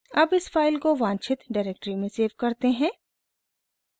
अब इस फाइल को वांछित डायरेक्टरी में सेव करते हैं